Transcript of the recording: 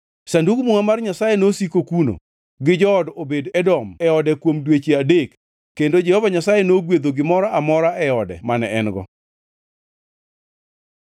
Sandug Muma mar Nyasaye nosiko kuno gi jood Obed-Edom e ode kuom dweche adek kendo Jehova Nyasaye nogwedho gimoro amora e ode mane en-go.